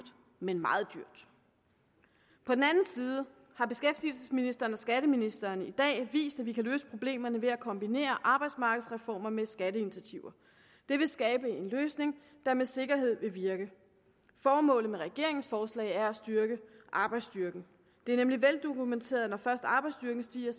men meget dyrt på den anden side har beskæftigelsesministeren og skatteministeren i dag vist at vi kan løse problemerne ved at kombinere arbejdsmarkedsreformer med skatteinitiativer det vil skabe en løsning der med sikkerhed vil virke formålet med regeringens forslag er at styrke arbejdsstyrken det er nemlig veldokumenteret at når først arbejdsstyrken stiger